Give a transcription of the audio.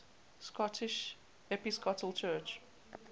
scottish episcopal church